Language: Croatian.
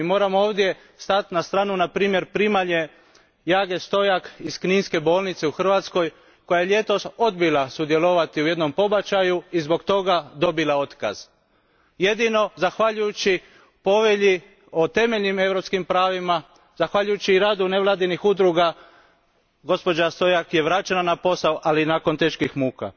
Mi moramo ovdje stati na stranu na primjer primalje Jage Stojak iz kninske bolnice u Hrvatskoj koja je ljetos odbila sudjelovati u jednom pobačaju i zbog toga dobila otkaz. Jedino zahvaljujući Povelji o temeljnim europskim pravima, zahvaljujući radu nevladinih udruga gospođa Stojak je vraćena na posao, ali nakon teških muka.